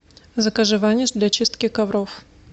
закажи ваниш для чистки ковров